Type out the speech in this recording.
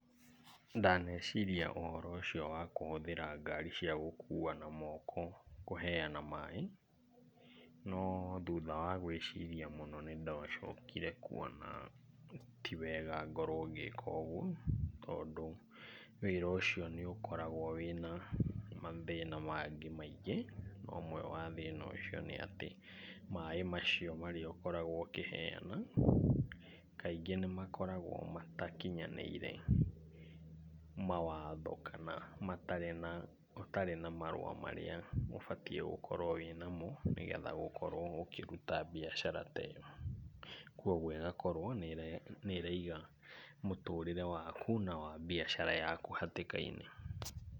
Ndaneciria ũhoro ũcio wa kũhũthĩra ngari cia gũkuua na moko kũheana maĩ, no thutha wa gwĩciria mũno nĩ ndacokire kuona ti wega ngĩka ũguo tondũ wĩra ũcio nĩ ũkoragwo wĩna mathĩna mangĩ maingĩ. Ũmwe wa thĩna ũcio nĩ atĩ maĩ macio ũkoragwo ũkĩheana kaingĩ nĩ makoragwo matakinyanĩire mawatho kana marĩ na ũtarĩ na marũa marĩa ũbatiĩ gũkorwo wĩnamo nĩgetha ũkorwo ũkĩruta biacara ta ĩyo. Kwoguo ĩgakorwo nĩ ĩraiga mũtũrĩre waku na wa biacara yaku hatĩka-inĩ.